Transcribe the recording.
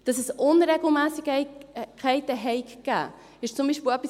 Dass es Unregelmässigkeiten gegeben habe, ist zum Beispiel etwas: